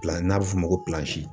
n'a bɛ f'o ma ko